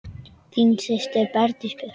Þín systir, Bergdís Björt.